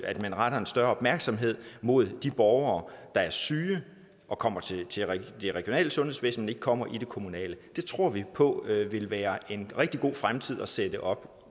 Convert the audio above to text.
at man retter en større opmærksomhed mod de borgere der er syge og kommer til det regionale sundhedsvæsen men ikke kommer til det kommunale det tror vi på ville være en rigtig god fremtid at sætte op